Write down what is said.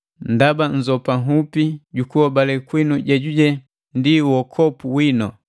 ndaba nnzopa nhupi jukuhobale kwinu jejuje ndi uokopu winu.